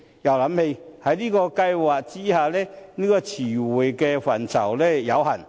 然而，這兩個計劃下的詞彙範疇均有限。